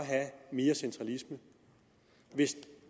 have mere centralisme hvis